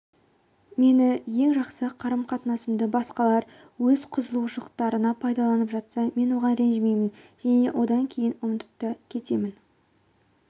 мені ең жақсы қарым-қатынасымды басқалар өз қызығушылықтарына пайдаланып жатса мен оған ренжімеймін және одан кейін ұмытып та кетемін